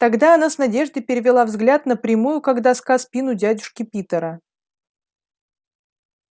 тогда она с надеждой перевела взгляд на прямую как доска спину дядюшки питера